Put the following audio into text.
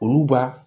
Olu b'a